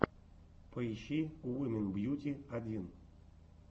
поищи уимэн бьюти один